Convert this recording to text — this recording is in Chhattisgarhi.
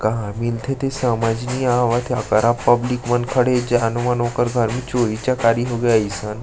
कहाँ मिलथे तेहा समझ नी आवाथे अकरहा पब्लिक मन खड़े हे जानो मानो ओकर घर मे चोरी चकारी होंगे आइसन--